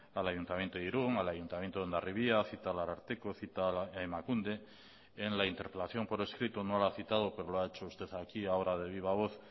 al ayuntamiento de irun al ayuntamiento de hondarribia cita al ararteko cita a emakunde en la interpelación por escrito no lo ha citado pero lo ha hecho usted aquí ahora de viva voz